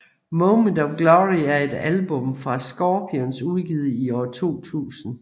Moment of Glory er et album fra Scorpions udgivet i 2000